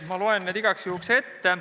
Ma loen need igaks juhuks ette.